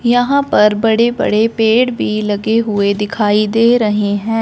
यहां पर बड़े बड़े पेड़ भी लगे हुए दिखाई दे रहे हैं।